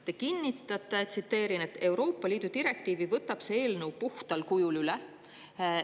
Te kinnitate, tsiteerin, et Euroopa Liidu direktiivi võtab see eelnõu puhtal kujul üle.